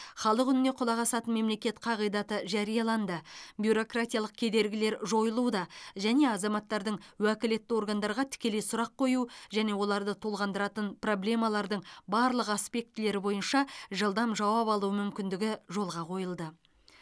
халық үніне құлақ асатын мемлекет қағидаты жарияланды бюрократиялық кедергілер жойылуда және азаматтардың уәкілетті органдарға тікелей сұрақ қою және оларды толғандыратын проблемалардың барлық аспектілері бойынша жылдам жауап алу мүмкіндігі жолға қойылды